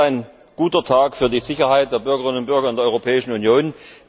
Es ist ein guter Tag für die Sicherheit der Bürgerinnen und Bürger in der Europäischen Union.